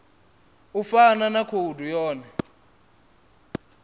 u fana na khoudu yone